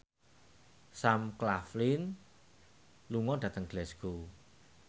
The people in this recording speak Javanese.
Sam Claflin lunga dhateng Glasgow